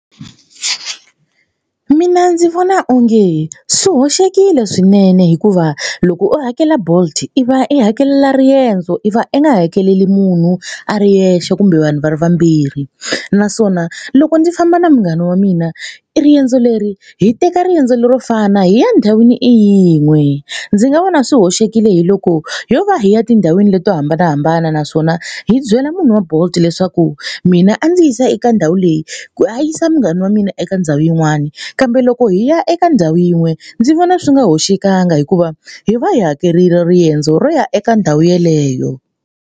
Mina ndzi vona onge swi hoxekile swinene hikuva loko u hakela bolt i va i hakelela riendzo i va i nga hakeleli munhu a ri yexe kumbe vanhu va ri vambirhi naswona loko ndzi famba na munghana wa mina i riendzo leri hi teka riendzo lero fana hi ya endhawini i yin'we. Ndzi nga vona swi hoxekile hi loko yo va hi ya tindhawini leti to hambanahambana naswona hi byela munhu wa bolt leswaku mina a ndzi yisa eka ndhawu leyi ku a yisa munghana wa mina eka ndhawu yin'wani kambe loko hi ya eka ndhawu yin'we ndzi vona swi nga hoxekangi hikuva hi va hi hakerile riendzo ro ya eka ndhawu yeleyo.